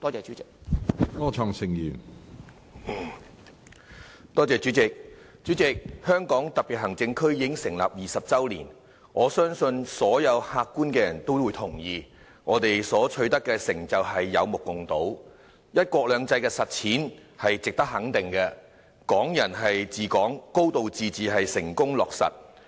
主席，香港特別行政區已經成立20周年，我相信所有客觀的人都會同意，我們取得的成就有目共睹，"一國兩制"的實踐是值得肯定的，"港人治港"、"高度自治"成功落實。